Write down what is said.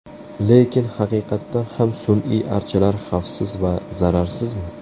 Lekin haqiqatan ham sun’iy archalar xavfsiz va zararsizmi?